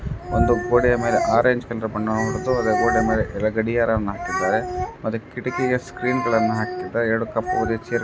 ಒಂದು ಗೋಡೆಯ ಮೇಲೆ ಅರೇಂಜ್ ಕಲರ್ ಬಣ್ಣ ಹೊಡೆದು ಅದರ ಗೋಡೆಯ ಮೇಲೆ ಗಡಿಯಾರವನ್ನು ಹಾಕಿದ್ದಾರೆ